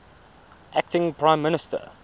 acting prime minister